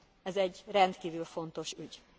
Ez egy rendkívül fontos ügy.